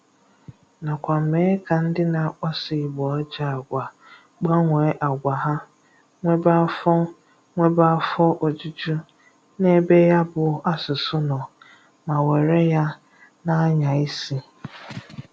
Nakwa mèè ka ndị na-akpasò ìgbò àjò àgwa gbànwò àgwa hà nwebé àfọ̀ nwebé àfọ̀ òjùjú n'ebe ya bù àsụ̀sụ̀ nò ma wéré ya na-anya ìsì.